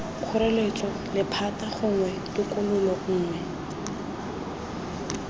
kgoreletso lephata gongwe tokololo nngwe